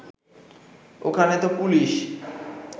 ওখানে তো পুলিশ